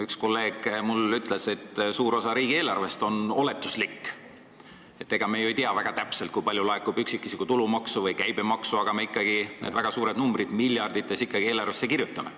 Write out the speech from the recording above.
Üks kolleeg ütles mulle, et suur osa riigieelarvest on oletuslik, ega me ju ei tea väga täpselt, kui palju laekub üksikisiku tulumaksu või käibemaksu, aga me ikkagi need väga suured numbrid, miljardid, eelarvesse kirjutame.